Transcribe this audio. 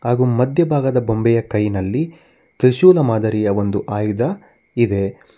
ಹಾಗೂ ಮಧ್ಯಭಾಗದ ಬೊಂಬೆಯ ಕೈನಲ್ಲಿ ತ್ರಿಶೂಲ ಮಾದರಿಯ ಒಂದು ಆಯುಧ ಇದೆ.